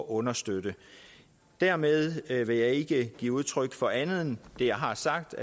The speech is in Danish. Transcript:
understøtte dermed vil jeg ikke give udtryk for andet end det jeg har sagt